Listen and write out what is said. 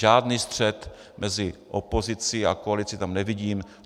Žádný střet mezi opozicí a koalicí tam nevidím.